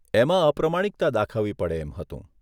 એમાં અપ્રમાણિકતા દાખવવી પડે એમ હતું.